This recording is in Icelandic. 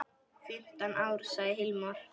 Fimmtán ár, sagði Hilmar.